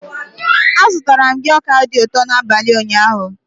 Azụtara m gị ọka dị ụtọ n'abalị ụnyaahụ.